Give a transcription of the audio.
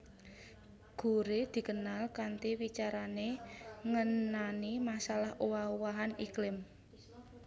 Gore dikenal kanthi wicarané ngenani masalah owah owahan iklim